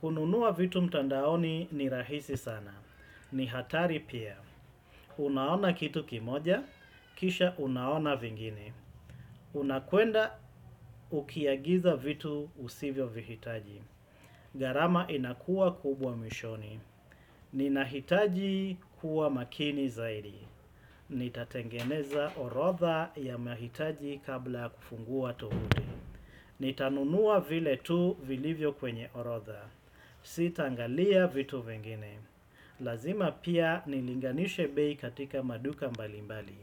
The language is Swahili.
Kununua vitu mtandaoni ni rahisi sana. Ni hatari pia. Unaona kitu kimoja, kisha unaona vingine. Unakuenda ukiagiza vitu usivyo vihitaji. Garama inakua kubwa mwishoni. Ninahitaji kuwa makini zaidi. Nitatengeneza orotha ya mahitaji kabla kufungua tovuti. Nitanunua vile tu vilivyo kwenye orotha. Si tangalia vitu vingine. Lazima pia nilinganishe bei katika maduka mbalimbali.